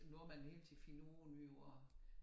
Æ nordmænd hele tiden finder ud af nye ord